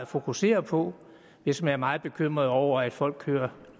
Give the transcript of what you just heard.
fokusere på hvis man er meget bekymret over at folk kører